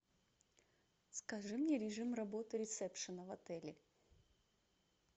скажи мне режим работы ресепшена в отеле